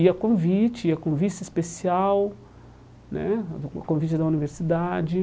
E a convite, a convite especial né, a a convite da universidade.